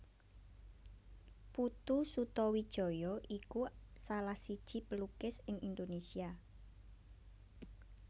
Putu Sutawijaya iku salah siji pelukis ing Indonesia